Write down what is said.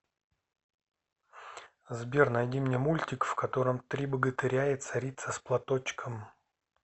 сбер найди мне мультик в котором три богатыря и царица с платочком